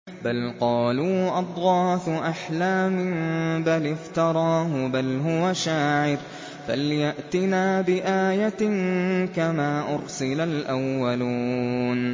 بَلْ قَالُوا أَضْغَاثُ أَحْلَامٍ بَلِ افْتَرَاهُ بَلْ هُوَ شَاعِرٌ فَلْيَأْتِنَا بِآيَةٍ كَمَا أُرْسِلَ الْأَوَّلُونَ